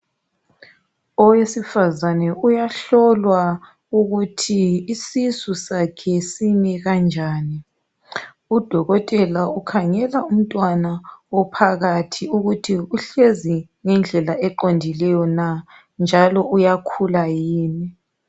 Owesifazane uyahlolwa ukuthi isisu sakhe simi kanjani. UDokotela ukhangela umntwana ophakathi ukuthi uhlezi ngendlela eqondileyo na? Njalo uyakhula yini?